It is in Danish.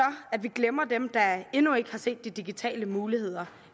at vi glemmer dem der endnu ikke har set de digitale muligheder